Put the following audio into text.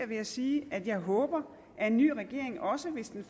ved at sige at jeg håber at en ny regering også hvis den